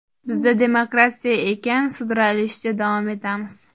Bizda demokratiya ekan, sudralishda davom etamiz.